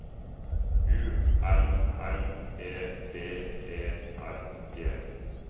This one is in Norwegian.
U L L E B E R G